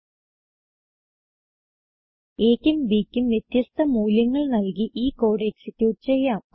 a ക്കും b ക്കും വ്യത്യസ്ത മൂല്യങ്ങൾ നല്കി ഈ കോഡ് എക്സിക്യൂട്ട് ചെയ്യാം